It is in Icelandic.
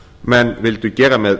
menn vildu gera með